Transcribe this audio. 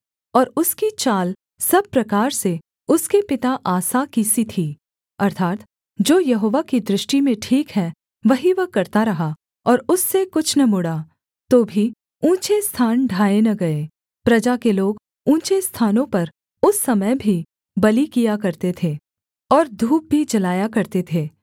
और उसकी चाल सब प्रकार से उसके पिता आसा की सी थी अर्थात् जो यहोवा की दृष्टि में ठीक है वही वह करता रहा और उससे कुछ न मुड़ा तो भी ऊँचे स्थान ढाए न गए प्रजा के लोग ऊँचे स्थानों पर उस समय भी बलि किया करते थे और धूप भी जलाया करते थे